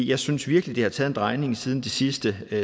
jeg synes virkelig det har taget en drejning siden det sidste